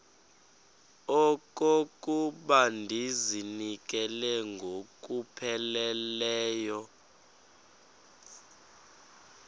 okokuba ndizinikele ngokupheleleyo